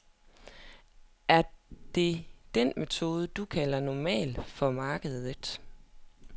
Er det den metode, du kalder normal for markedet?